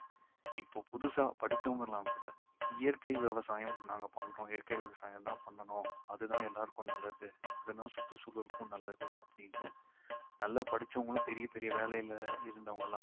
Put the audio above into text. இப்போ புதுசா படிச்சவங்கல்லாம் கூட இயற்கை விவசாயம் நாங்க பண்றோம் இயற்கை விவசாயம் தான் பண்ணனும் அதுதான் எல்லாருக்கும் நல்லது அதுதான் சுற்றுச் சூழலுக்கும் நல்லது அப்படின்னு நல்லா படிச்சவங்களும் பெரிய பெரிய வேலைல இருந்தவங்கயெல்லாம்